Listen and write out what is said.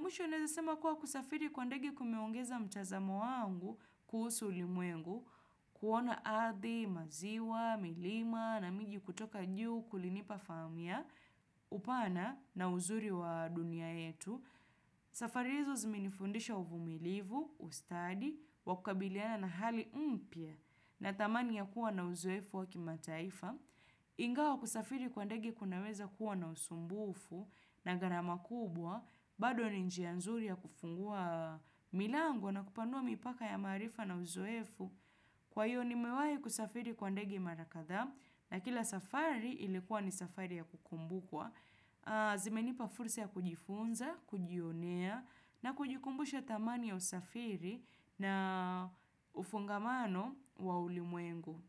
Mwisho nawezasema kuwa kusafiri kwa ndege kumeongeza mtazamo wangu kuhusu ulimwengu kuona ardhi, maziwa, milima na miji kutoka juu kulinipa fahamu upana na uzuri wa dunia yetu. Safari hizo zimenifundisha uvumilivu, ustadi, wakukabiliana na hali mpya na tamani ya kuwa na uzoefu wa kimataifa ingawa kusafiri kwa ndege kunaweza kuwa na usumbufu na gharama kubwa bado ni njia nzuri ya kufungua milango na kupanua mipaka ya maarifa na uzoefu kwa hiyo ni mewahi kusafiri kwa ndege mara kadhaa na kila safari ilikuwa ni safari ya kukumbukwa zimenipa fursa ya kujifunza, kujionea na kujikumbusha dhamani ya usafiri na ufungamano wa ulimwengu.